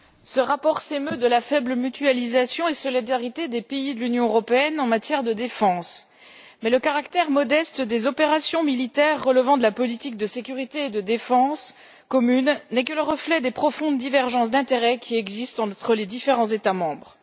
Madame la Présidente, ce rapport s'émeut de la faible mutualisation et solidarité des pays de l'Union européenne en matière de défense. Mais le caractère modeste des opérations militaires relevant de la politique de sécurité et de défense commune n'est que le reflet des profondes divergences d'intérêt qui existent entre les différents États membres.